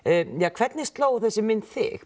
hvernig sló þessi mynd þig